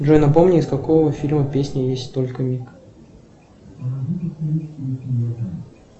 джой напомни из какого фильма песня есть только миг